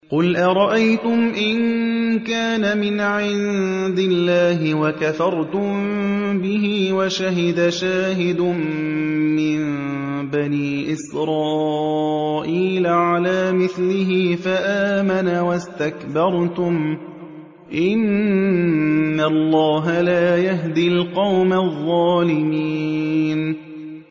قُلْ أَرَأَيْتُمْ إِن كَانَ مِنْ عِندِ اللَّهِ وَكَفَرْتُم بِهِ وَشَهِدَ شَاهِدٌ مِّن بَنِي إِسْرَائِيلَ عَلَىٰ مِثْلِهِ فَآمَنَ وَاسْتَكْبَرْتُمْ ۖ إِنَّ اللَّهَ لَا يَهْدِي الْقَوْمَ الظَّالِمِينَ